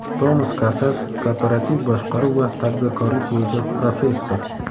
Tomas Kasas Korporativ boshqaruv va tadbirkorlik bo‘yicha professor.